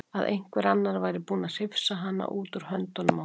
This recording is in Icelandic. Að einhver annar væri búinn að hrifsa hana út úr höndunum á honum.